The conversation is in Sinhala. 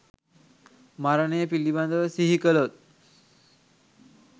මරණය පිළිබඳව සිහි කළොත්